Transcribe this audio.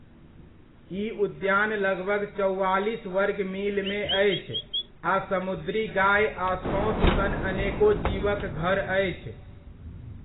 ई उद्यान लगभग चौआलिस वर्ग मीलमे अछि आ समुद्री गाए आ सोँस सन अनेको जीवक घर अछि।